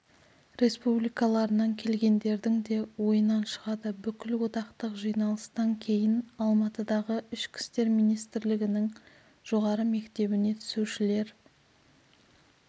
республикаларынан келгендердің де ойынан шығады бүкілодақтық жиналыстан кейін алматыдағы ішкі істер министрлігінің жоғары мектебіне түсушілер